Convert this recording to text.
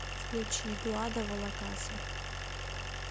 включи глада валакаса